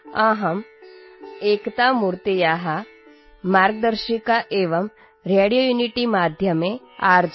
'एकभारतं श्रेष्ठभारतम्' | अहम् एकतामूर्तेः मार्गदर्शिका एवं रेडियो